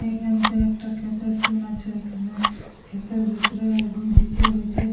এখানতে একটা ক্ষেতের সিন আছে। এখানে ক্ষেতের ভিতরে বু বিচে বিচে --